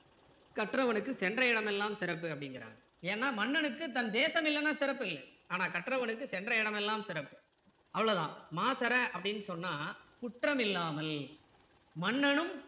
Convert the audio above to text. கற்றவனுக்கு சென்ற இடமெல்லாம் சிறப்பு அப்படிங்கிறாங்க ஏன்னா மன்னனுக்கு தன் தேசம் இல்லன்னா சிறப்பில்ல ஆனா கற்றவனுக்கு சென்ற இடமெல்லாம் சிறப்பு அவ்வளோதான் மாசற அப்படின்னு சொன்னா குற்றமில்லாமல் மன்னனும்